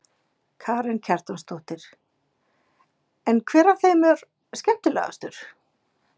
Karen Kjartansdóttir: En hver af þeim er skemmtilegastur?